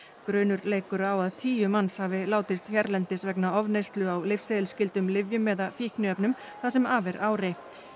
grunur leikur á að tíu manns hafi látist hérlendis vegna ofneyslu á lyfseðilsskyldum lyfjum eða fíkniefnum það sem af er ári